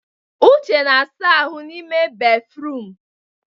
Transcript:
Uche na-asa ahụ n'ime béfrụm.